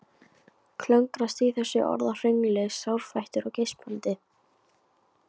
Klöngrast í þessu orðahröngli sárfættur og geispandi.